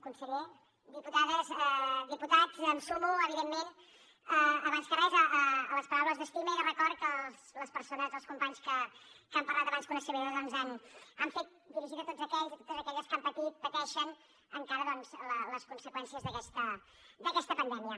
conseller diputades diputats em sumo evidentment abans que res a les paraules d’estima i de record que les persones els companys que han parlat abans que una servidora doncs han fet dirigida a tots aquells i a totes aquelles que han patit pateixen encara doncs les conseqüències d’aquesta pandèmia